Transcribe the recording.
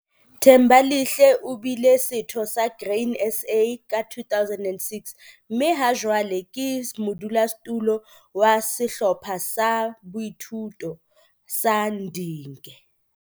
Thembalihle o bile setho sa Grain SA ka 2006, mme hajwale ke modulasetulo wa Sehlopha sa Boithuto sa Ndunge.